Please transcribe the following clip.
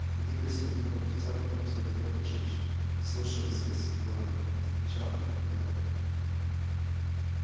отведи господину офицеру квартиру да почище слушаю василиса егоровна отвечал урядник